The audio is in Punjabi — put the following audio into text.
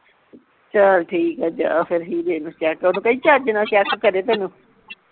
ਚੱਲ ਠੀਕ ਆ ਜਾ ਫਿਰ ਹੀਰੇ ਨੂੰ ਉਹਨੂੰ ਕਹੀਂ ਚਁਜ ਨਾਲ check ਕਰੇ ਤੈਨੂੰ